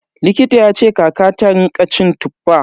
Likita yace kakata ta rinƙa cin Tuffa.